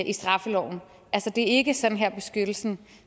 i straffeloven altså det er ikke sådan her beskyttelsen